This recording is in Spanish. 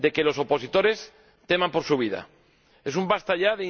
de que los opositores teman por su vida. Es un ¡basta ya!